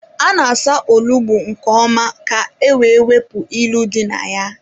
A na-asa onugbu nke ọma ka-ewe wepụ ilu dị na ya.